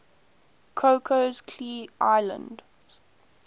cocos keeling islands